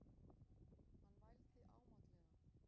Hann vældi ámátlega.